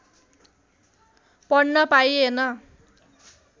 पढ्न पाइएन